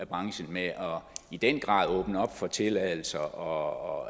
branchen med i den grad at åbne op for tilladelser og